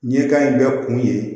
Ɲɛkan in bɛɛ kun ye